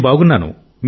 నేను బాగున్నాను